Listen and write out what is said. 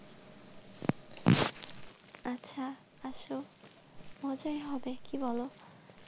হ্যাঁ আচ্ছা, আসো মজাই হবে কি বোলো।